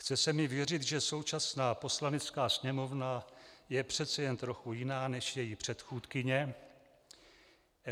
Chce se mi věřit, že současná Poslanecká sněmovna je přece jen trochu jiná než její předchůdkyně.